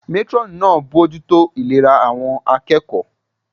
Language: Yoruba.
Métúrọ̀nù náà ń bojútó ìlera àwọn akẹ́kọ̀ọ́